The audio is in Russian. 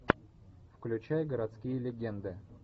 включай городские легенды